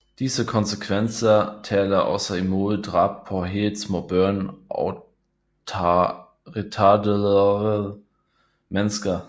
Disse konsekvenser taler også imod drab på helt små børn og retarderede mennesker